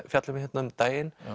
fjalla um hérna um daginn